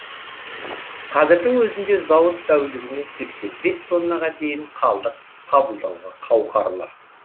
қазірдің өзінде зауыт тәулігіне сексен бес тоннаға дейін қалдық қабылдауға қауқарлы